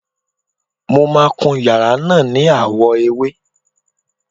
Mo máà ń kun yàrá náà ni àwọ̀ ewé.